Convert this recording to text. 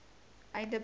einde beide i